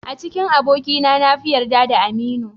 A cikin abokaina na fi yarda da Aminu.